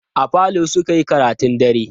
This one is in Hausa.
A falo suka yi karatun dare.